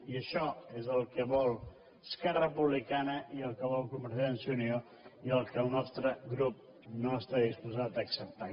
i això és el que vol esquerra republicana i el que vol convergència i unió i el que el nostre grup no està disposat a acceptar